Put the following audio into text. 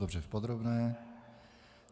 Dobře, v podrobné.